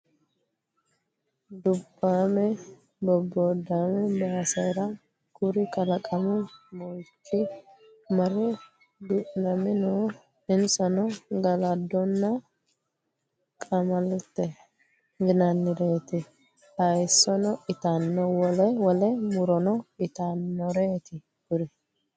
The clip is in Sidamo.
Dubbame bobodame basera kuri kalaqamu moichi marre duuname no insano galadonna qamalete yinannireti hayisono ittano wole wole murono ittanoreti kuri.